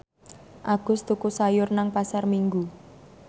Agus tuku sayur nang Pasar Minggu